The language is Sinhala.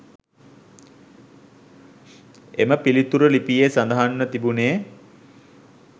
එම පිළිතුර ලිපියේ සඳහන්ව තිබුණේ